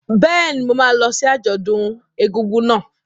Bẹ́ẹ̀ni, mo máa lọ sí àjọ̀dún ọdún egúngún náà.